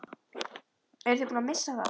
Eru þeir búnir að missa það?